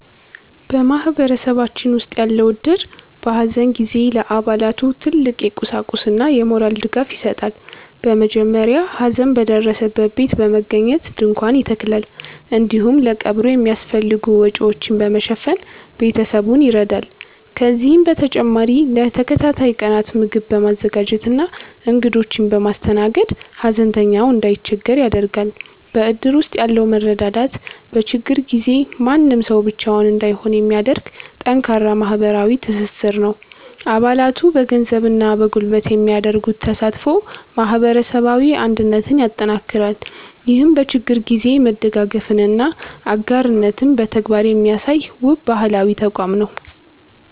በማህበረሰባችን ውስጥ ያለው እድር፣ በሐዘን ጊዜ ለአባላቱ ትልቅ የቁሳቁስና የሞራል ድጋፍ ይሰጣል። በመጀመሪያ ሐዘን በደረሰበት ቤት በመገኘት ድንኳን ይተከላል፤ እንዲሁም ለቀብሩ የሚያስፈልጉ ወጪዎችን በመሸፈን ቤተሰቡን ይረዳል። ከዚህም በተጨማሪ ለተከታታይ ቀናት ምግብ በማዘጋጀትና እንግዶችን በማስተናገድ፣ ሐዘንተኛው እንዳይቸገር ያደርጋል። በእድር ውስጥ ያለው መረዳዳት፣ በችግር ጊዜ ማንም ሰው ብቻውን እንዳይሆን የሚያደርግ ጠንካራ ማህበራዊ ትስስር ነው። አባላቱ በገንዘብና በጉልበት የሚያደርጉት ተሳትፎ ማህበረሰባዊ አንድነትን ያጠናክራል። ይህም በችግር ጊዜ መደጋገፍንና አጋርነትን በተግባር የሚያሳይ፣ ውብ ባህላዊ ተቋም ነው።